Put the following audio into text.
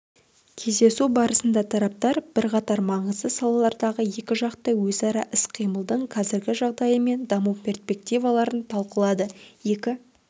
кездесу барысында тараптар бірқатар маңызды салалардағы екіжақты өзара іс-қимылдың қазіргі жағдайы мен даму перспективаларын талқылады екі